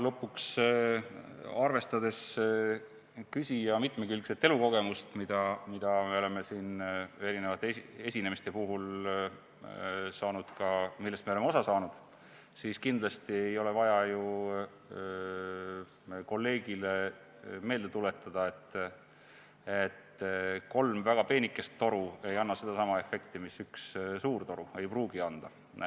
Lõpuks, arvestades küsija mitmekülgset elukogemust, millest me oleme siin eri esinemiste puhul ka osa saanud, ei ole vaja kindlasti ju meil kolleegile meelde tuletada, et kolm väga peenikest toru ei anna sedasama efekti mis üks suur toru või ei pruugi anda.